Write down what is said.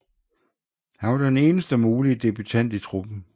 Han var den eneste mulige debutant i truppen